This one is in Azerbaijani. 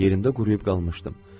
Yerimdə quruyub qalmışdım.